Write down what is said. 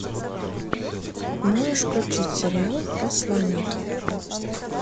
можешь включить сериал посланники